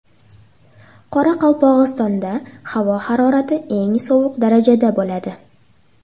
Qoraqalpog‘istonda havo harorati eng sovuq darajada bo‘ladi.